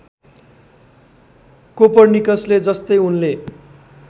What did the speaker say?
कोर्पनिकसले जस्तै उनले